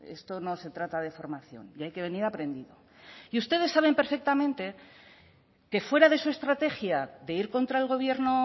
eh esto no se trata de formación y hay que venir aprendido y ustedes saben perfectamente que fuera de su estrategia de ir contra el gobierno